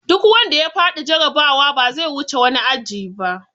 Duk wanda ya faɗi jarabawa ba zai wuce wani aji ba!